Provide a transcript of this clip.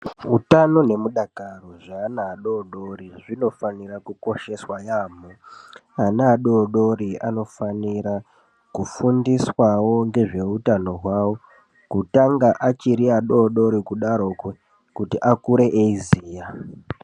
Hutano nemudakaro zveana adodori zvinofanira kukosheswa yaamho. Ana adodori anofanira kufundiswawo ngezveutano hwavo, kutanga achiri adodori kudaroko, kuti akure achiziya.